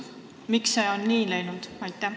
Miks see on nii läinud?